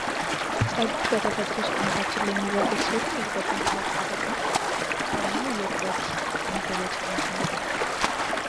ፀጉር በተፈጥሮ ሰውነታችን ላይ የሚበቅል ሲሆን እድገቱም የማይቋረጥ ነው። እና የውበት መገለጫ ነው አንዱ!